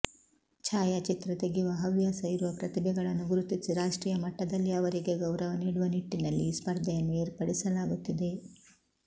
ಛಾಯಾಚಿತ್ರ ತೆಗೆಯುವ ಹವ್ಯಾಸ ಇರುವ ಪ್ರತಿಭೆಗಳನ್ನು ಗುರುತಿಸಿ ರಾಷ್ಟ್ರೀಯ ಮಟ್ಟದಲ್ಲಿ ಅವರಿಗೆ ಗೌರವ ನೀಡುವ ನಿಟ್ಟಿನಲ್ಲಿ ಈ ಸ್ಪರ್ಧೆಯನ್ನು ಏರ್ಪಡಿಸಲಾಗುತ್ತಿದೆ